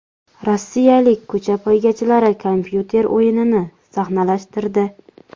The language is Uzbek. Rossiyalik ko‘cha poygachilari kompyuter o‘yinini sahnalashtirdi .